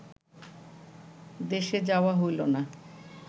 দেশে যাওয়া হইল না